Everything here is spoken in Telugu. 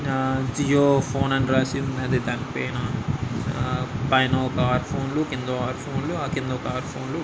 ఆ జియో ఫోన్ అని రాసి ఉన్నది. దాని పైన ఆ పైనొక ఆరు ఫోన్లు కిందొ ఆరు ఫోన్లు ఆ కిందొక ఆరు ఫోన్లు --